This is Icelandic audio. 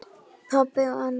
Pabbi og Anna.